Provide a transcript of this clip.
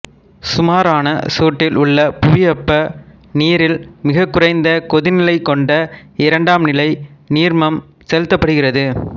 சுமாரான சூட்டில் உள்ள புவிவெப்ப நீரில் மிகக்குறைந்த கொதிநிலை கொண்ட இரண்டாம்நிலை நீர்மம் செலுத்தப்படுகிறது